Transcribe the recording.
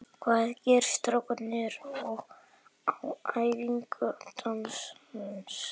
Hvað gerðu strákarnir okkar á æfingu dagsins?